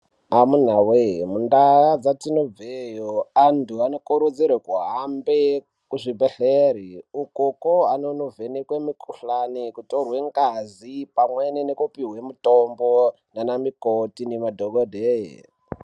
Amunawe mu ndau dzatinobveyo antu ano kurudzirwe ku hambe ku zvibhedhleri ukoko anono vhenekwe mu kuhlani kutorwe ngazi pamweni neku pihwe mutombo nana mikoti ne madhokodheya.